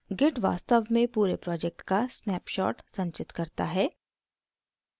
git वास्तव में पूरे project का snapshot संचित करता है